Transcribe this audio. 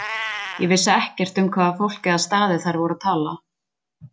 Ég vissi ekkert um hvaða fólk eða staði þær voru að tala.